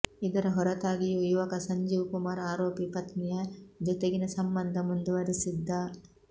ಇದರ ಹೊರತಾಗಿಯೂ ಯುವಕ ಸಂಜೀವ್ ಕುಮಾರ್ ಆರೋಪಿ ಪತ್ನಿಯ ಜೊತೆಗಿನ ಸಂಬಂಧ ಮುಂದುವರಿಸಿದ್ದ